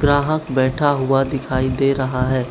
ग्राहक बैठा हुआ दिखाइ दे रहा है।